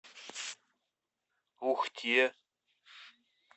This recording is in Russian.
ухте